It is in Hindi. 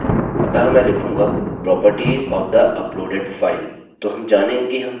हमारे पास यहाँ हमारी सभी प्रोपर्टिज हैं अतः मैं लिखूँगा properties of the uploaded file तो हम जानेंगे कि हम क्या कर रहे हैं